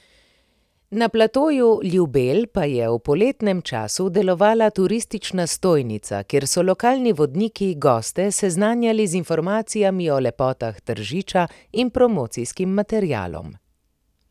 Na platoju Ljubelj pa je v poletnem času delovala turistična stojnica, kjer so lokalni vodniki goste seznanjali z informacijami o lepotah Tržiča in promocijskim materialom.